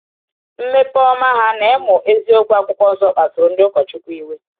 Mmepe ọma ha n’ịmụ um eziokwu Akwụkwọ Nsọ kpasuru ndị ụkọchukwu iwe.